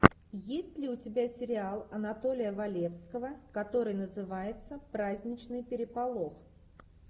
есть ли у тебя сериал анатолия валевского который называется праздничный переполох